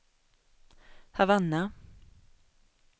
Havanna